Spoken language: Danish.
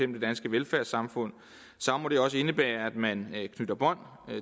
det danske velfærdssamfund må det også indebære at man knytter bånd